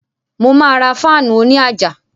Mo ma ra fáànù òní àjà